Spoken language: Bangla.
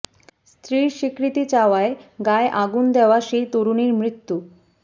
স্ত্রীর স্বীকৃতি চাওয়ায় গায়ে আগুন দেওয়া সেই তরুণীর মৃত্যু